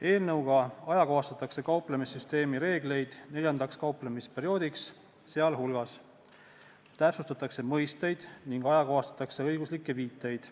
Eelnõuga ajakohastatakse kauplemissüsteemi reeglid neljandaks kauplemisperioodiks, sealhulgas täpsustatakse mõisteid ning ajakohastatakse õiguslikke viiteid.